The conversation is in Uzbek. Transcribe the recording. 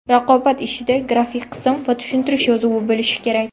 Raqobat ishida grafik qism va tushuntirish yozuvi bo‘lishi kerak.